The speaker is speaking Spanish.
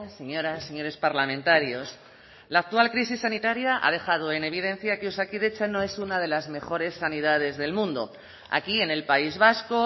señoras señores parlamentarios la actual crisis sanitaria ha dejado en evidencia que osakidetza no es una de las mejores sanidades del mundo aquí en el país vasco